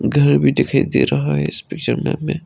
घर भी दिखाई दे रहा है इस पिक्चर में --